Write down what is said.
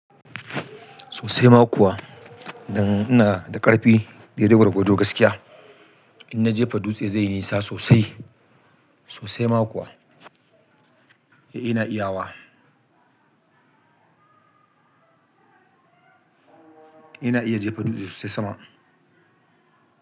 Sosai ma kuwa, dan ina da ƙarfi, dai dai gwargwado gaskiya. In na jefa dutse zai yi nisa sosai, sosai ma kuwa. Eh ina iya wa. Ina iya jefa dutse sosai sama.